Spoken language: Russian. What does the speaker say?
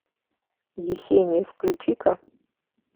есения включи ка